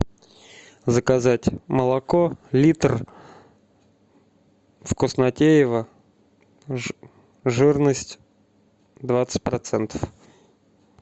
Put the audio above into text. заказать молоко литр вкуснотеево жирность двадцать процентов